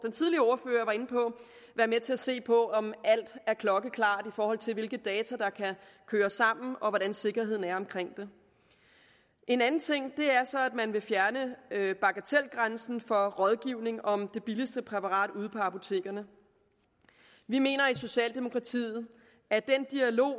være med til at se på om alt er klokkeklart i forhold til hvilke data der kan køres sammen og hvordan sikkerheden er omkring det en anden ting er så at man vil fjerne bagatelgrænsen for rådgivning om det billigste præparat ude på apotekerne vi mener i socialdemokratiet at den dialog